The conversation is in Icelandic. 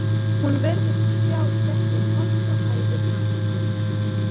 Hún virtist sjá gegnum holt og hæðir mannlífsins.